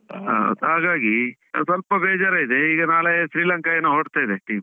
ಹಾ ಹಾಗಾಗಿ ಸ್ವಲ್ಪ ಬೇಜಾರ್ ಆಯ್ತು, ಆ ಈಗ ನಾಳೆ ಶ್ರೀಲಂಕಾ ಏನೋ ಹೊರಡ್ತಾ ಇದೆ team .